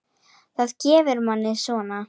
Það gefur manni svona.